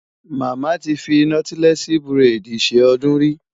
Màmá ti fi nọ́tílẹ́ẹ̀sì búrẹ́dì ṣe ọdún rí.